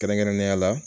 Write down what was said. Kɛrɛnkɛrɛnnenya la